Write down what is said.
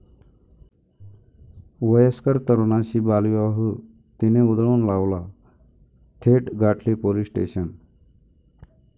वयस्कर तरुणाशी बालविवाह 'ती'ने उधळून लावला, थेट गाठले पोलीस स्टेशन!